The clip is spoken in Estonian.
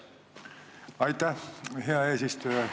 Aitäh, hea eesistuja!